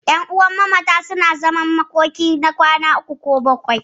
Ƴanuwan mamata suna zaman makoki na kwana uku ko bakwai.